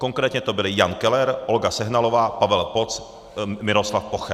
Konkrétně to byli Jan Keller, Olga Sehnalová, Pavel Poc, Miroslav Poche.